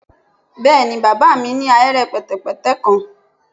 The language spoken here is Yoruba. Bẹẹni baba mi ni ahere pẹtẹpẹtẹ kan